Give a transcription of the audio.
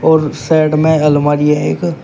और साइड में अलमारी है एक।